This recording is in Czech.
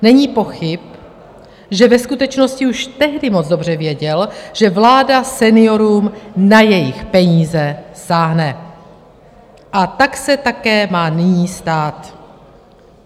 Není pochyb, že ve skutečnosti už tehdy moc dobře věděl, že vláda seniorům na jejich peníze sáhne, a tak se také má nyní stát.